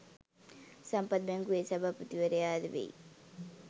සම්පත් බැංකුවේ සභාපතිවරයාද වෙයි.